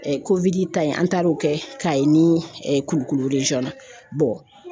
ta in an taar'o kɛ Kayi ni Kulukoro na